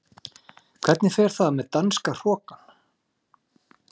Hvernig fer það með danska hrokann?